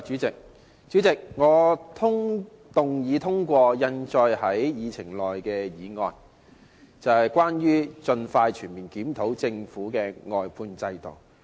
主席，我動議通過印載於議程內的議案，即有關"盡快全面檢討政府的服務外判制度"的議案。